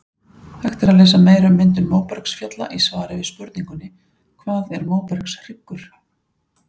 Hægt er að lesa meira um myndun móbergsfjalla í svari við spurningunni Hvað er móbergshryggur?